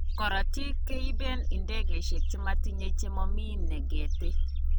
Korotik keiben idegeishek chemotinye chemomi negete.